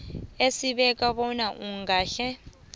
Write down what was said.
esibeka bona ungahle